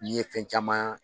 N ye fɛn caman